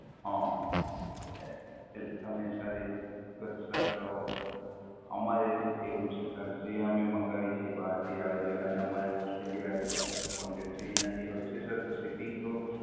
હઃ! એટલે તમે Sir ઈ તો Sir તો અમારે એવું છે Sir જે આમે મંગાવીએ છીએ બહાર થી આવે છે અને અમારે Australia હારે પણ Contact છે ત્યાં થી આવે છે Sir તો Shipping તો,